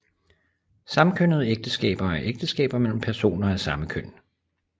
Samkønnede ægteskaber er ægteskaber mellem personer af samme køn